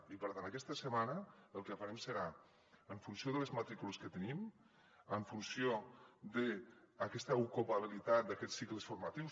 i per tant aquesta setmana el que farem serà en funció de les matrícules que tenim en funció d’aquesta ocupabilitat d’aquests cicles formatius